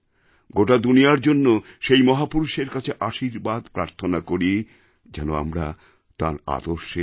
গোটা দুনিয়ার জন্য সেই মহাপুরুষের কাছে আশীর্বাদ প্রার্থনা করি যেন আমরা তাঁর আদর্শে এক